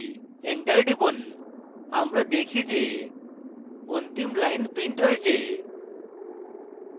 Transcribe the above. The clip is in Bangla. enter টিপুন আমরা দেখি যে অন্তিম line printed হয়েছে